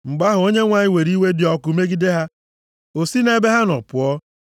Mgbe ahụ, Onyenwe anyị were iwe dị ọkụ megide ha. O si nʼebe ha nọ pụọ.